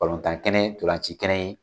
Balontan kɛnɛ ntolaci kɛnɛ in